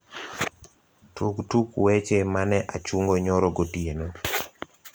tug tuk weche mane achungo nyoro gotieno